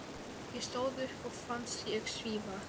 Ég stóð upp og fannst ég svífa.